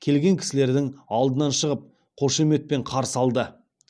келген кісілердің алдынан шығып қошеметпен қарсы алды